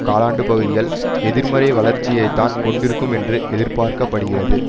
காலாண்டுப் பகுதிகள் எதிர்மறை வளர்ச்சியைத்தான் கொண்டிருக்கும் என்றும் எதிர்பார்க்க படுகிறது